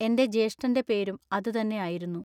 എന്റെ ജ്യേഷ്യന്റെ പേരും അതു തന്നെ ആയിരുന്നു.